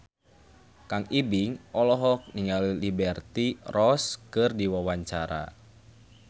Kang Ibing olohok ningali Liberty Ross keur diwawancara